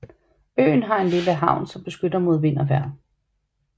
Øen har en lille havn som beskytter mod vejr og vind